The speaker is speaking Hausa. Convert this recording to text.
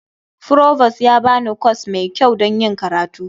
Provost ya ba ni kwas mai kyau don yin karatu.